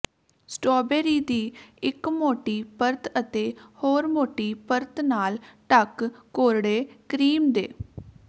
strawberry ਦੀ ਇੱਕ ਮੋਟੀ ਪਰਤ ਅਤੇ ਹੋਰ ਮੋਟੀ ਪਰਤ ਨਾਲ ਢਕ ਕੋਰੜੇ ਕਰੀਮ ਦੇ